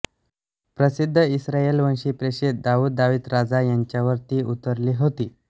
प्रसिद्ध इस्रायेलवंशी प्रेषित दाउद दावीद राजा यांच्यावर ती उतरली होती